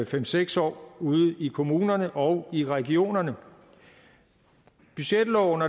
fem seks år ude i kommunerne og i regionerne budgetloven